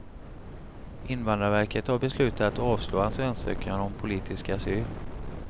Invandrarverket har beslutat att avslå hans ansökan om politisk asyl.